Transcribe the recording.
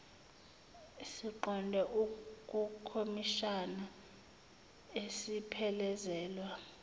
siqonde kukhomishani siphelezelwa